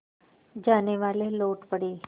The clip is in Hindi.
जानेवाले लौट पड़े